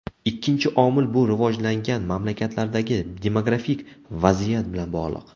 Ikkinchi omil bu rivojlangan mamlakatlardagi demografik vaziyat bilan bog‘liq.